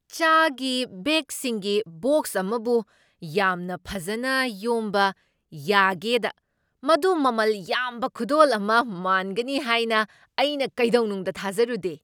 ꯆꯥꯒꯤ ꯕꯦꯒꯁꯤꯡꯒꯤ ꯕꯣꯛꯁ ꯑꯃꯕꯨ ꯌꯥꯝꯅ ꯐꯖꯅ ꯌꯣꯝꯕ ꯌꯥꯒꯦꯗ ꯃꯗꯨ ꯃꯃꯜ ꯌꯥꯝꯕ ꯈꯨꯗꯣꯜ ꯑꯃ ꯃꯥꯟꯒꯅꯤ ꯍꯥꯏꯅ ꯑꯩꯅ ꯀꯩꯗꯧꯅꯨꯡꯗ ꯊꯥꯖꯔꯨꯗꯦ꯫